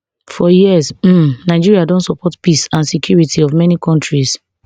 for years um nigeria don support peace and security of many kontris